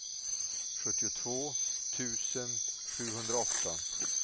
sjuttiotvå tusen sjuhundraåtta